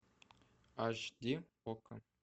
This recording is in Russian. аш ди окко